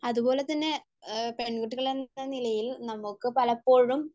അതുപോലെതന്നെ പെൺകുട്ടികളെന്ന നിലയിൽ നമുക്ക് പലപ്പോഴും